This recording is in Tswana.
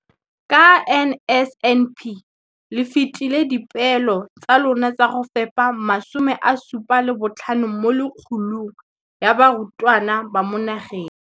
Ka NSNP le fetile dipeelo tsa lona tsa go fepa masome a supa le botlhano a diperesente ya barutwana ba mo nageng.